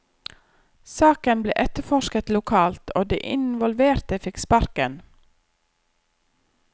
Saken ble etterforsket lokalt, og de involverte fikk sparken.